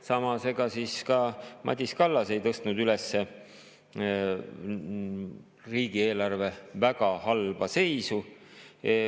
Samas, ega ka Madis Kallas ei tõstnud üles riigieelarve väga halba seisu.